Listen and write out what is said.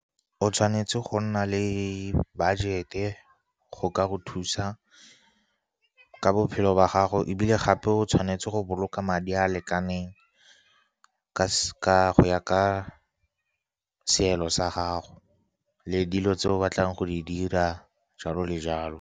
O tshwanetse go nna le budget-e, go ka go thusa ka bophelo ba gago. Ebile gape, o tshwanetse go boloka madi a a lekaneng go ya ka seelo sa gago le dilo tse o batlang go di dira, jalo le jalo.